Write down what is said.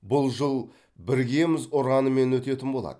бұл жыл біргеміз ұранымен өтетін болады